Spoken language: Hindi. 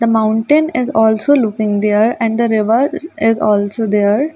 the mountain is also looking there and the river is also there --